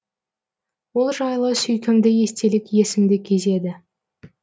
ол жайлы сүйкімді естелік есімді кезеді